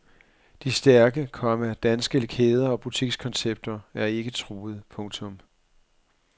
De stærke, komma danske kæder og butikskoncepter er ikke truet. punktum